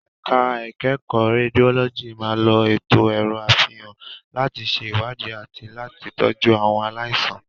Ẹ̀ka ìkẹ́kọ̀ọ́ Rédiólọ́jì máa ń lo ètò ẹ̀rọ àfihàn láti ṣe ìwádìí àti láti tọ́jú àwọn aláìsàn.